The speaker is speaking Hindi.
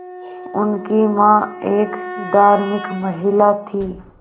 उनकी मां एक धार्मिक महिला थीं